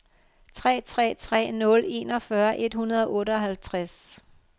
tre tre tre nul enogfyrre et hundrede og otteoghalvtreds